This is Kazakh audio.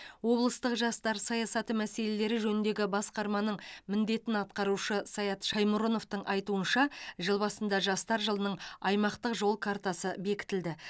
облыстық жастар саясаты мәселелері жөніндегі басқарманың міндетін атқарушы саят шаймұрыновтың айтуынша жыл басында жастар жылының аймақтық жол картасы бекітілді